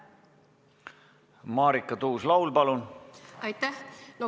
Marika Tuus-Laul, palun!